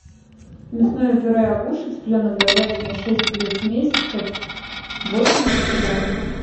мясное пюре агуша цыпленок говядина шесть плюс месяцев восемьдесят грамм